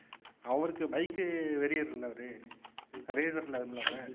அவருக்கு bike வெறியர்ல அவர்